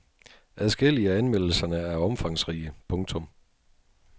Adskillige af anmeldelserne er omfangsrige. punktum